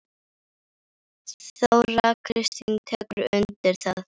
Þóra Kristín tekur undir það.